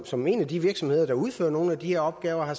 som er en af de virksomheder der udfører nogle af de her opgaver